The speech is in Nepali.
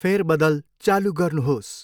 फेरबदल चालु गर्नुहोस्।